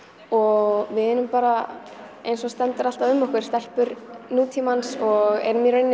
og við erum bara eins og stendur alltaf um okkur stelpur nútímans og erum í rauninni